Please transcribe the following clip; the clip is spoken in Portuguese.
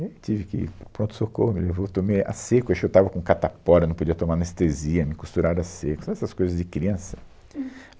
E aí tive que ir para o pronto-socorro, me levou eu tomei a seco, eu acho que eu estava com catapora, não podia tomar anestesia, me costuraram a seco, sabe essas coisas de criança.